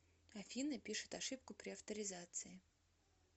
афина пишет ошибку при авторизации